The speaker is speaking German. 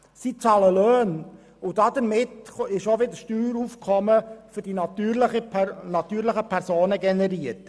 sie bezahlen Löhne, und damit wird auch wieder Steueraufkommen für die natürlichen Personen generiert.